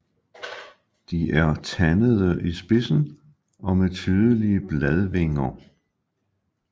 De er tandede i spidsen og med tydelige bladvinger